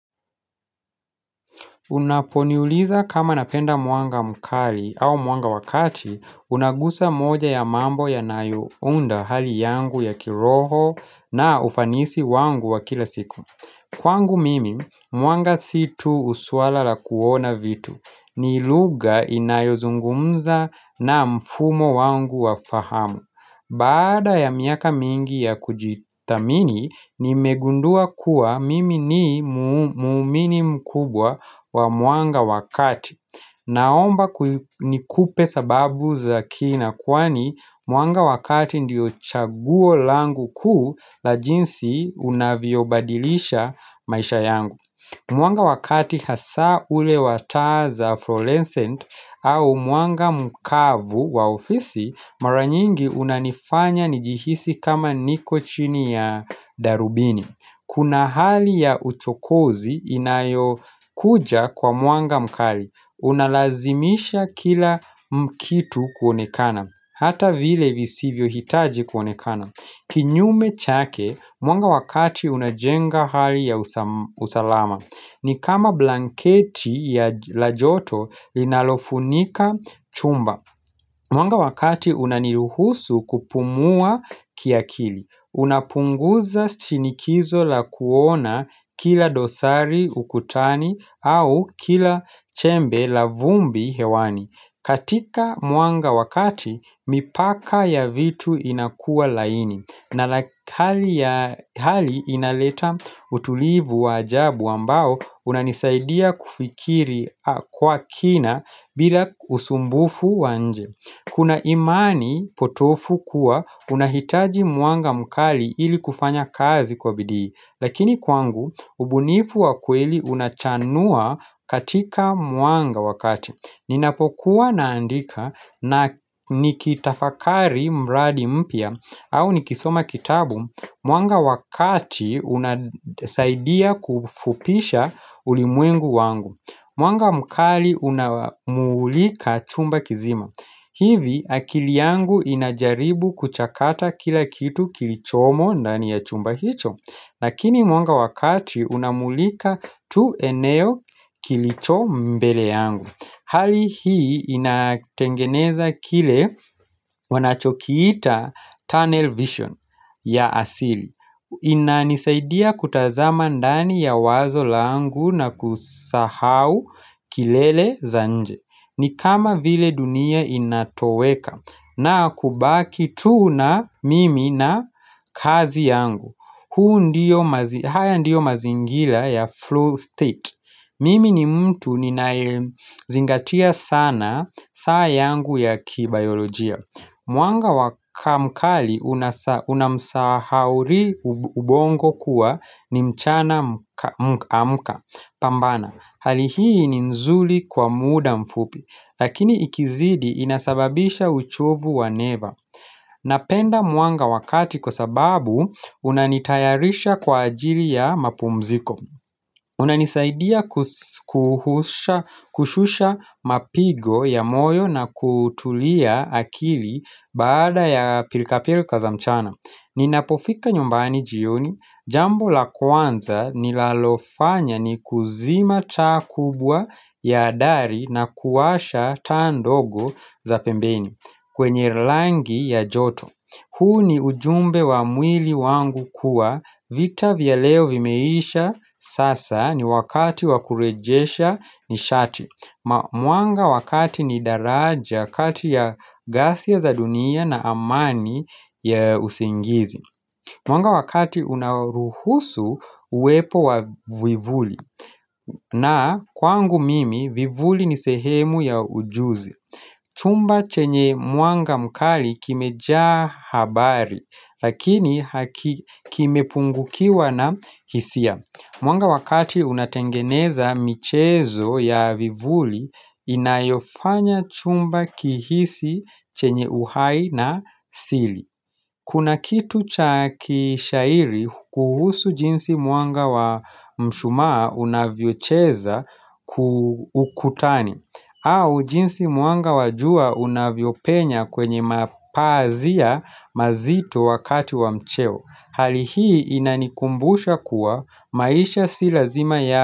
Unaponiuliza kama napenda mwanga mkali au mwanga wa kati, unagusa moja ya mambo yanayounda hali yangu ya kiroho na ufanisi wangu wa kila siku. Kwangu mimi mwanga si tu suala la kuona vitu, ni lugha inayozungumza na mfumo wangu wa fahamu. Baada ya miaka mingi ya kujithamini, nimegundua kuwa mimi ni muumini mkubwa wa mwanga wa kati. Naomba ku nikupe sababu za kina kwani mwanga wa kati ndiyo chaguo langu kuu la jinsi unavyobadilisha maisha yangu. Mwanga wa kati hasa ule wa taa za fluorescent au mwanga mkavu wa ofisi mara nyingi unanifanya nijihisi kama niko chini ya darubini. Kuna hali ya uchokozi inayokuja kwa mwanga mkali. Unalazimisha kila kitu kuonekana. Hata vile visivyohitaji kuonekana. Kinyume chake, mwanga wa kati unajenga hali ya usalama ni kama blanketi ya la joto linalofunika chumba Mwanga wa kati unaniruhusu kupumua kiakili. Unapunguza shinikizo la kuona kila dosari ukutani au kila chembe la vumbi hewani. Katika mwanga wa kati mipaka ya vitu inakuwa laini. Na hali inaleta utulivu wa ajabu ambao unanisaidia kufikiri kwa kina bila usumbufu wa nje. Kuna imani potofu kuwa unahitaji mwanga mkali ili kufanya kazi kwa bidii Lakini kwangu, ubunifu wa kweli unachanua katika mwanga wa kati. Ninapokuwa naandika na nikitafakari mradi mpya au nikisoma kitabu, mwanga wa kati unasaidia kufupisha ulimwengu wangu. Mwanga mkali unamulika chumba kizima hivi akili yangu inajaribu kuchakata kila kitu kilichomo ndani ya chumba hicho Lakini mwanga wa kati unamulika tu eneo kilicho mbele yangu. Hali hii inatengeneza kile wanachokiita tunnel vision ya asili inanisaidia kutazama ndani ya wazo langu na kusahau kilele za nje. Ni kama vile dunia inatoweka na kubaki tu na mimi na kazi yangu. Huu ndiyo, haya ndiyo mazingila ya flow state Mimi ni mtu ninayezingatia sana saa yangu ya kibiolojia Mwanga wa ka mkali unamsahauri ubongo kuwa ni mchana amka, pambana. Hali hii ni nzuri kwa muda mfupi, lakini ikizidi inasababisha uchovu wa neva Napenda mwanga wa kati kwa sababu unanitayarisha kwa ajili ya mapumziko unanisaidia kushusha mapigo ya moyo na kutulia akili baada ya pilkapilka za mchana. Ninapofika nyumbani jioni, jambo la kwanza nilalofanya ni kuzima taa kubwa ya adari na kuwasha taa ndogo za pembeni kwenye langi ya joto huu ni ujumbe wa mwili wangu kuwa vita vya leo vimeisha sasa ni wakati wa kurejesha nishati. Mwanga wakati ni daraja kati ya gasia za dunia na amani ya usingizi. Mwanga wa kati unaruhusu uwepo wa vivuli. Na kwangu mimi, vivuli ni sehemu ya ujuzi. Chumba chenye mwanga mkali kimejaa habari. Lakini haki kimepungukiwa na hisia. Mwanga wa kati unatengeneza michezo ya vivuli inayofanya chumba kihisi chenye uhai na siri Kuna kitu cha kishairi kuhusu jinsi mwanga wa mshumaa unavyocheza ku ukutani au jinsi mwanga wa jua unavyopenya kwenye mapazia mazito wakati wa mcheo. Hali hii inanikumbusha kuwa maisha si lazima ya.